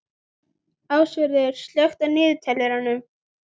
Ásvarður, slökktu á niðurteljaranum.